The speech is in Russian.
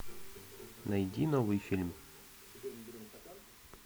найди новый фильм